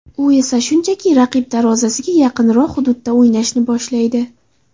U esa shunchaki raqib darvozasiga yaqinroq hududda o‘ynashni boshlaydi.